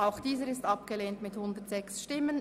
Auch dieser Antrag ist nun abgelehnt worden.